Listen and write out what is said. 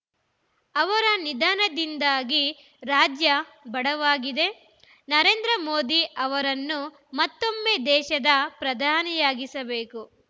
ಅವರ ನಿಧನದಿಂದಾಗಿ ರಾಜ್ಯ ಬಡವಾಗಿದೆ ನರೇಂದ್ರ ಮೋದಿ ಅವರನ್ನು ಮತ್ತೊಮ್ಮೆ ದೇಶದ ಪ್ರಧಾನಿಯನ್ನಾಗಿಸಬೇಕು